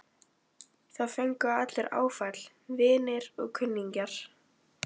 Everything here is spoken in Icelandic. Það fengu allir áfall, vinir og kunningjar.